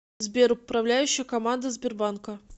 сбер управляющая команда сбербанка